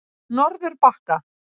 Norðurbakka